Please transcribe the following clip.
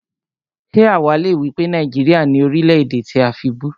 Ṣé àwá le wípé Nàìjíríà ni Orílè-èdè tí a fibú?